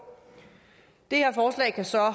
det her forslag kan så